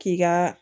K'i ka